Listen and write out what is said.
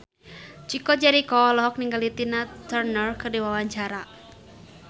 Chico Jericho olohok ningali Tina Turner keur diwawancara